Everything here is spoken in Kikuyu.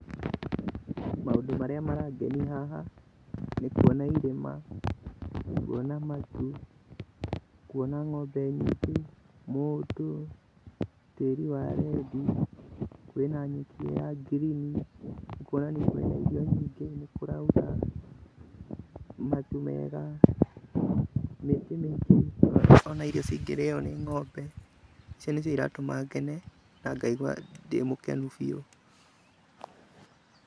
Maũndũ marĩa marangeni haha, nĩkuona irĩma, kuona matu, kuona ng'ombe nyingĩ, mũndũ, tĩĩri wa rendi, kwĩna nyeki ya ngirini nĩ kuonania kwĩna irio nyingĩ, nĩkũraura, matu mega, mĩtĩ mĩingĩ ona irio cingĩrĩo nĩ ng'ombe, icio nĩcio iratũma ngene na ngaigua ndĩmũkenu biu.